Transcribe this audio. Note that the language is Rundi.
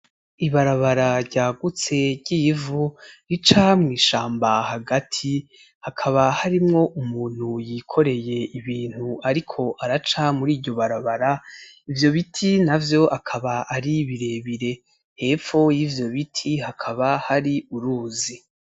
Ibarabara ryagutse ry’ivu rica mu bishamba hagati ,hakaba harimwo umuntu yikoreye ibintu ariko araca muriryo barabara ,ivyo biti navyo akaba ari birebire , epfo y’ivyo biti hakaba hari uruzi.